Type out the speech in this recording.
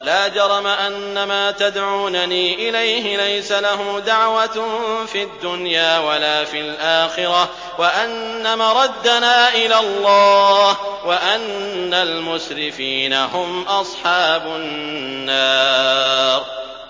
لَا جَرَمَ أَنَّمَا تَدْعُونَنِي إِلَيْهِ لَيْسَ لَهُ دَعْوَةٌ فِي الدُّنْيَا وَلَا فِي الْآخِرَةِ وَأَنَّ مَرَدَّنَا إِلَى اللَّهِ وَأَنَّ الْمُسْرِفِينَ هُمْ أَصْحَابُ النَّارِ